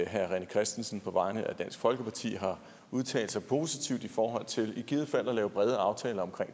herre rené christensen på vegne af dansk folkeparti har udtalt sig positivt i forhold til i givet fald at lave brede aftaler om